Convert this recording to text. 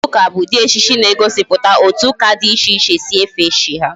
Ejije ụka bụ ụdị ejije na-egosiputa otu ụka dị iche iche si efe chi ha